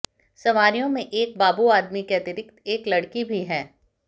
सवारियों में एक बाबू आदमी के अतिरिक्त एक लड़की भी है